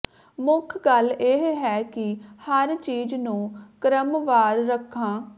ਮੁੱਖ ਗੱਲ ਇਹ ਹੈ ਕਿ ਹਰ ਚੀਜ਼ ਨੂੰ ਕ੍ਰਮਵਾਰ ਰੱਖਾਂ